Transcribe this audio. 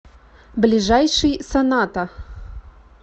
ближайший соната